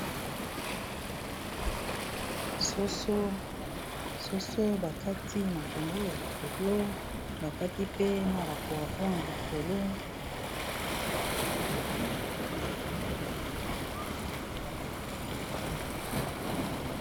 Soso bakati matungulu likolo bakati pe na ba poivron likolo.